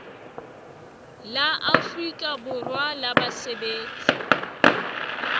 la afrika borwa la basebetsi